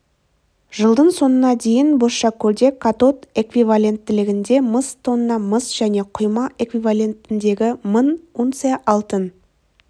жылдың соңына дейін бозшакөлде катод эквивалентіндегі мың тонна мыс және құйма эквивалентіндегі мың унция алтын